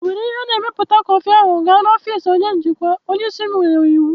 Were ihe na-emepụta kọfị ahụ gaa n'ọfịs onye njikwa! Onye isi m nyere iwu.